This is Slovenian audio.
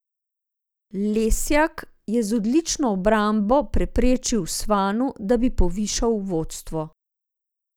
Lesjak je z odlično obrambo preprečil Svanu, da bi povišal vodstvo.